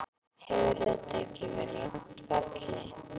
Hefur þetta ekki verið langt ferli?